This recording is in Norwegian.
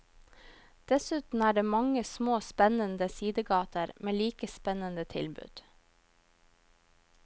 Dessuten er det mange små spennende sidegater med like spennende tilbud.